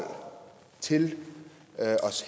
til at